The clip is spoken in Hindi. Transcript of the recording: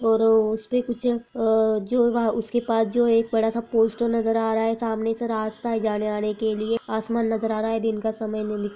और उसपे कुछ अ-- जो वह उसके पास जो है एक बड़ा सा पोस्टर नज़र आ रहा है सामने से रास्ता है जाने-आने के लिए आसमान नज़र आ रहा है दिन का समय--